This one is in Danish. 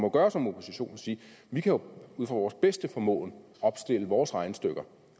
må gøre som opposition og sige vi kan ud fra vores bedste formåen opstille vores regnestykker